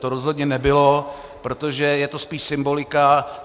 To rozhodně nebylo, protože je to spíše symbolika.